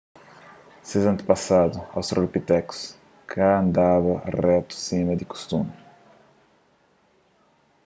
ses antepasadu australopitekus ka andaba retu sima di kustumi